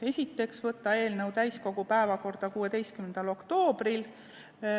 Esiteks, võtta eelnõu täiskogu päevakorda 16. oktoobriks.